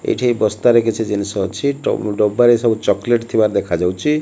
ଏଇଠି ବସ୍ତାରେ କିଛି ଜିନିଷ ଅଛି। ଡ ଡବାରେ ସବୁ ଚକେଲେଟ ଥିବାର ଦେଖାଯାଉଚି।